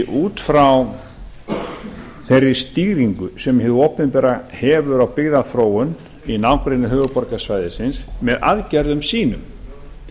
út frá þeirri stýringu sem hið opinbera hefur á byggðaþróun í nágrenni höfuðborgarsvæðisins með aðgerðum sínum